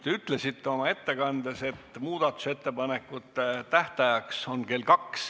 Te ütlesite oma ettekandes, et muudatusettepanekute tähtaeg on kell 14.